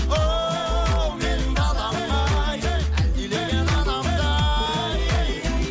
оу менің далам ай әлдилеген анамдай